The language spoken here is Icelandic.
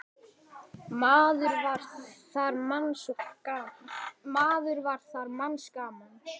Maður var þar manns gaman.